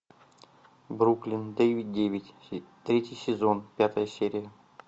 бруклин девять девять третий сезон пятая серия